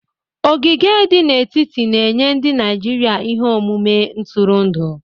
Ogige di n'etiti na-enye ndị Naijiria ihe omume ntụrụndụ.